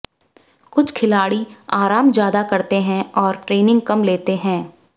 कुछ खिलाड़ी आराम ज्यादा करते हैं और ट्रेनिंग कम लेते हैं